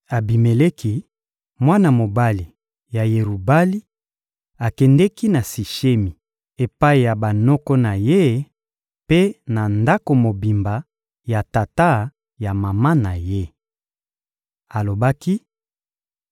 Abimeleki, mwana mobali ya Yerubali, akendeki na Sishemi epai ya banoko na ye mpe na ndako mobimba ya tata ya mama na ye. Alobaki: